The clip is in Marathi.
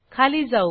खाली जाऊ